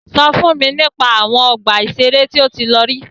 Sọ fún mi nípa àwọn ọgbà ìṣẹ̀rẹ́ tí o tí lọ rí.